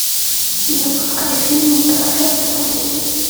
запускай фильм кража автомобилей